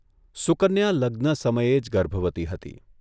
સુકન્યા લગ્ન સમયે જ ગર્ભવતી હતી.